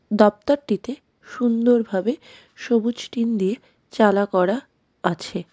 দপ্তরটিতে সুন্দরভাবে সবুজ টিন দিয়ে চালা করা আছে.